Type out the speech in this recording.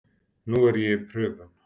Nú er ég í prufum.